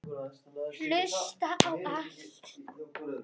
Hlusta á allt!!